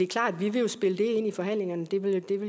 klart at vi vil spille det ind i forhandlingerne det vil